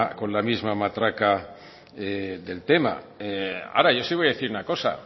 con la misma matraca del tema ahora yo sí voy a decir una cosa